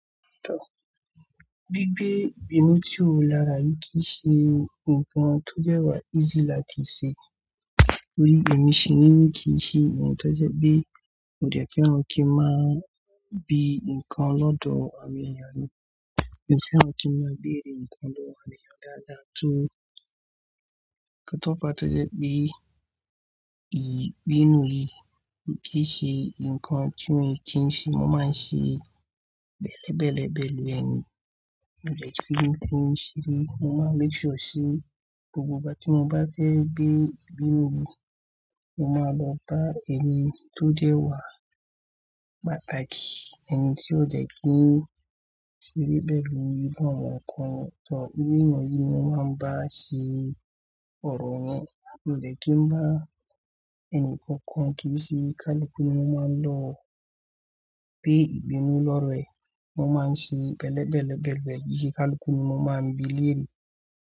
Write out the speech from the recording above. Tọ́, gbígbé Ìbínú tí ó lára yìí kì í ṣe nǹkan tó jẹ́wà easy láti ṣe. Nítorí èmi sì ní kì í ṣe ohun tó jẹ́ pé mo dẹ̀kùn kí n máa bi nǹkan lọ́dọ̀ àwọn ènìyàn mi. Èmi fẹ́ràn kí n máa béèrè nǹkan lọ́wọ́ àwọn ènìyàn dáadáa tó kátópá tó jẹ́ pé ìbínú yìí kì í ṣe nǹkan tí mòún kí n ṣe. Mo máa ń ṣe bẹ̀lẹ́bẹ̀lẹ́ ẹbẹ̀ lórí ẹni. Mo jẹ́ kí n ṣe rí, mo máa ń léjòó sí gbogbo ìgbà tí mo bá fẹ́ gbé ìbínú yìí, mo máa lọ bá ẹni tó jẹ́wà pàtàkì, ẹni tí ó jẹ́ kí n ṣe rí bẹ̀lú, kí ó máa wọ́n kọ́ni. Tọ́, gbígbé ìnù yìí mo máa ń bá a ṣe ọ̀rọ̀ yẹn. Mo dẹ̀kùn bá ẹni kankan kí i ṣe kálikúnì, mo máa ń lọ gbé ìbínú lọ́rẹ̀ẹ́. Mo máa ń ṣe bẹ̀lẹ́bẹ̀lẹ́ ẹbẹ̀ ẹbẹ̀ kálikúnì, mo máa ń bi léèrè.